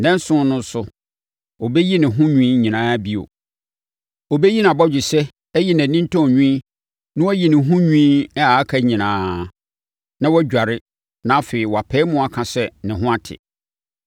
Nnanson no so no, ɔbɛyi ne ho nwi nyinaa bio, ɔbɛyi nʼabɔgyesɛ ayi nʼanintɔn nwi na wayi ne ho nwi a aka nyinaa, na wadware, na afei wɔapae mu aka sɛ ne ho ate.